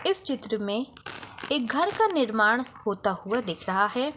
इस चित्र में एक घर का निर्माण होता हुआ दिख रहा है।